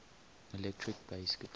electric bass guitar